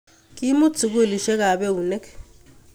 Kemut sukulisiekap eunek